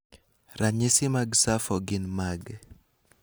ranyisi mag SAPHO gin mage?